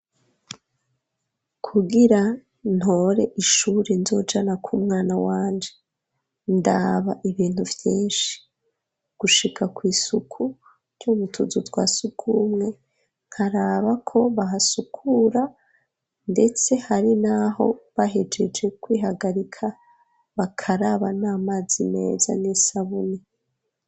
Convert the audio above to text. Kugira ntore ishuri nzojana kw'umwana wanje ndaba ibintu vyinshi gushika kw'isuku ryo mutuzu twa sukumwe nkaraba ko bahasukura, ndetse hari, naho bahejeje kwihagarika bakaraba ni amazi meza n'isabuni.